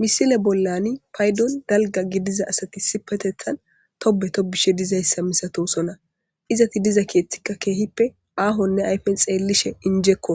Misile bolani paydo dalga gidiza asati issipetetan tobe tobishe dizaysata misatosona izeti diza keethika keehipe aahone ayfen xeelishe enjeko